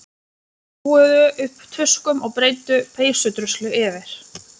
Hrúguðu upp tuskum og breiddu peysudruslu yfir.